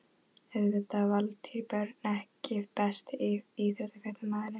Auðvitað Valtýr Björn EKKI besti íþróttafréttamaðurinn?